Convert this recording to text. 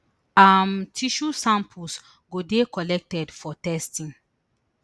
um tissue samples go dey collected for testing